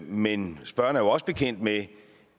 men spørgeren er også bekendt med